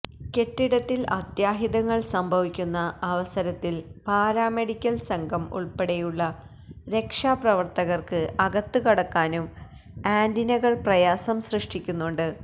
കെട്ടിടത്തില് അത്യാഹിതങ്ങള് സംഭിവിക്കുന്ന അവസരത്തില് പാരാമെഡിക്കല് സംഘം ഉള്പെടെയുള്ള രക്ഷാപ്രവര്ത്തകര്ക്ക് അകത്ത് കടക്കാനും ആന്റിനകള് പ്രയാസം സൃഷ്ടിക്കുന്നുണ്ട്